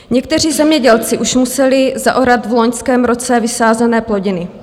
Někteří zemědělci už museli zaorat v loňském roce vysázené plodiny.